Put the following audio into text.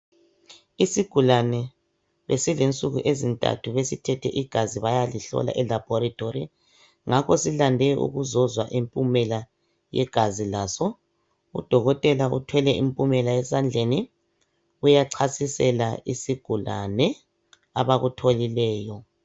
Isigulane esilensuku ezintathu basithethe igazi bayalihlola elabhorethi ngakho silande ukuzozwa impumela yegazi laso. Udokotela uthwele impumela esandleni, uyachasisela isigulane abakutholileyo.